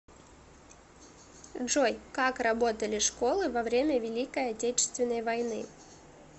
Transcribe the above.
джой как работали школы во время великой отечественной войны